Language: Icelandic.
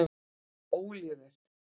Óliver